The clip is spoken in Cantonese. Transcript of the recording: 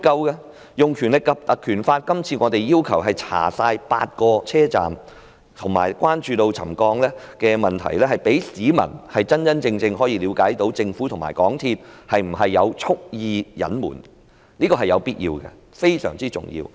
這次我們要求引用《條例》調查全部8個車站及關注沉降的問題，可以讓市民真正了解政府和港鐵公司有否蓄意隱瞞，這是有必要的，而且非常重要。